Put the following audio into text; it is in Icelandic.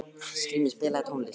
Skrýmir, spilaðu tónlist.